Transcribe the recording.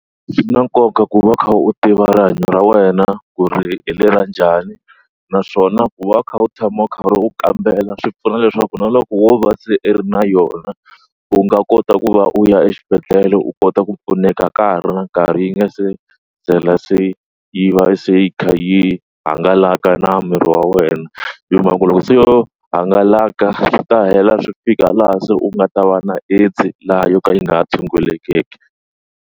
Swi na nkoka ku va u kha u tiva rihanyo ra wena ku ri hi le ra njhani naswona ku va u kha u tshama u karhi u kambela swi pfuna leswaku na loko wo va se i ri na yona u nga kota ku va u ya exibedhlele u kota ku pfuneka ka ha ri na nkarhi yi nga se ndlela se yi va se a yi hangalaka na miri wa wena hi mhaka loko se yo hangalaka swi ta tlhela swi fika laha se u nga ta va na AIDS laha yo ka yi nga tshungulekiki.